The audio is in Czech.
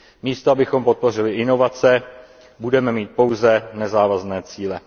Místo abychom podpořili inovace, budeme mít pouze nezávazné cíle.